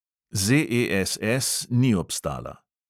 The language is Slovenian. ZESS ni obstala.